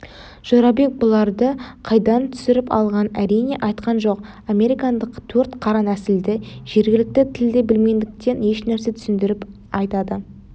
жорабек бұларды қайдан түсіріп алғанын әрине айтқан жоқ американдық төрт қара нәсілді жергілікті тілді білмегендіктен ешнәрсе түсіндіріп айта да